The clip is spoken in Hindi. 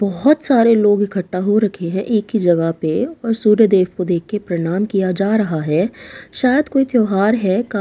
बहोत सारे लोग इकट्ठा हो रखे हैं एक ही जगह पे और सूर्य देव को देख के प्रणाम किया जा रहा है शायद कोई त्यौहार है का--